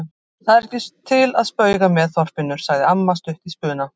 Það er ekki til að spauga með, Þorfinnur! sagði amma stutt í spuna.